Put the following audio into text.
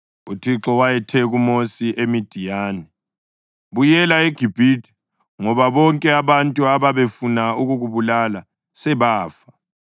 UThixo wayethe kuMosi eMidiyani, “Buyela eGibhithe, ngoba bonke abantu ababefuna ukukubulala sebafa.”